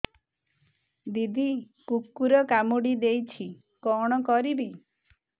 ଦିଦି କୁକୁର କାମୁଡି ଦେଇଛି କଣ କରିବି